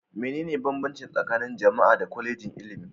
Mene ne banbanci tsakanin jam'a da Kwallejin ilimi?